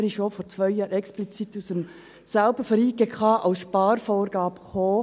Er wurde auch vor zwei Jahren explizit von der JGK als Sparvorgabe eingebracht.